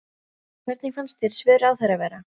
Hvernig fannst þér svör ráðherra vera?